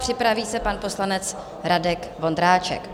Připraví se pan poslanec Radek Vondráček.